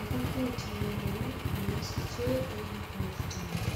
ngufut neo ne isiche eng bortangung.